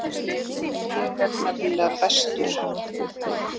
Ég er nefnilega bestur.